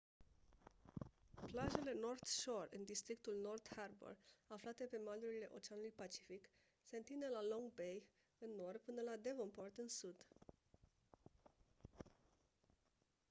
plajele north shore în districtul north harbour aflate pe malurile oceanului pacific se întind de la long bay în nord până la devonport în sud